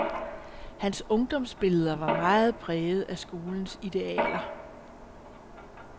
Hans ungdomsbilleder var meget præget af skolens idealer.